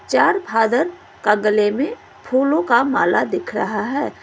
चार फादर का गले में फूलों का माला दिख रहा है।